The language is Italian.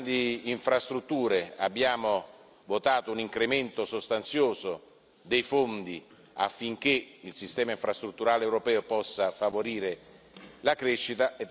Sulle grandi infrastrutture abbiamo votato un incremento sostanzioso dei fondi affinché il sistema infrastrutturale europeo possa favorire la crescita.